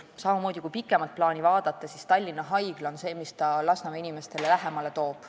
Kui pikemat plaani vaadata, siis eriarstiabi puhul on samamoodi: Tallinna Haigla toob selle Lasnamäe inimestele lähemale.